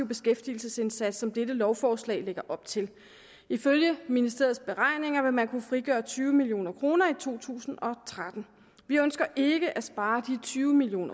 beskæftigelsesindsats som dette lovforslag lægger op til ifølge ministeriets beregninger vil man kunne frigøre tyve million kroner i to tusind og tretten vi ønsker ikke at spare de tyve million